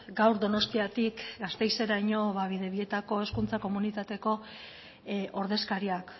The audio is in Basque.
gaur donostiatik gasteizeraino bidebietako hezkuntza komunitateko ordezkariak